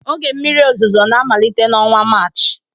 Oge mmiri ozuzo na-amalite n'ọnwa Maachị